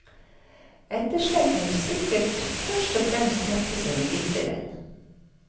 Etterslekten vil sikkert først og fremst hefte seg ved dikteren.